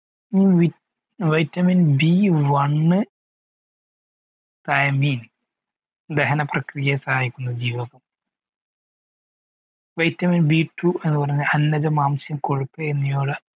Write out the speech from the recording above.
vitamin B one ദഹന പ്രക്രിയ സഹായിക്കുന്ന ജീവകം vitamin B two അന്നജലം മാസം കൊഴുപ്പ് എന്നിവകള്